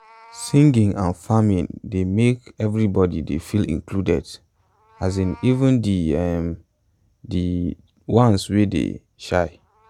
singing and farming join dey make everyone dey feel included um even de um de um ones wey um dey shy